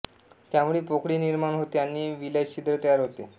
त्यामुळे पोकळी निर्माण होते आणि विलयछिद्र तयार होते